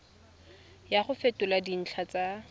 ya go fetola dintlha tsa